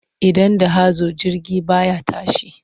Idan da hazo jirgi ba ya tashi.